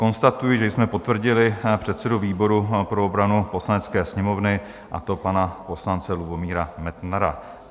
Konstatuji, že jsme potvrdili předsedu výboru pro obranu Poslanecké sněmovny, a to pana poslance Lubomíra Metnara.